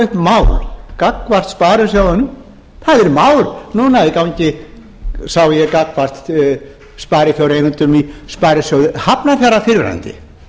upp mál gagnvart sparisjóðunum það er mál núna í gangi sá ég gagnvart sparifjáreigendum í sparisjóði hafnarfjarðar fyrrverandi